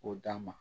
K'o d'a ma